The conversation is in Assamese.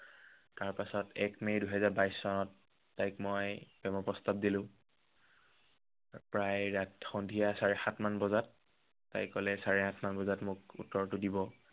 তাৰ পাছত এক মে দুহেজাৰ বাইশ চনত তাইক মই প্ৰেমৰ প্ৰস্তাৱ দিলো। প্ৰায় আহ সন্ধিয়া চাৰে সাতমান বজাত। তাই কলে চাৰে আঠমান বজাত মোক উত্তৰটো দিব।